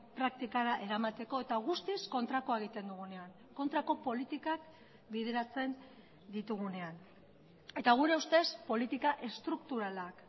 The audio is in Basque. praktikara eramateko eta guztiz kontrakoa egiten dugunean kontrako politikak bideratzen ditugunean eta gure ustez politika estrukturalak